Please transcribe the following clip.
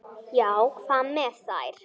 Já, hvað með þær?